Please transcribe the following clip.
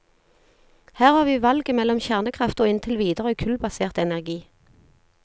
Her har vi valget mellom kjernekraft og inntil videre kullbasert energi.